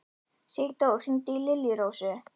Sigdór, hringdu í Liljurósu.